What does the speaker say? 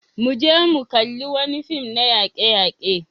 Mu je mu kalli wani fim na yake-yake.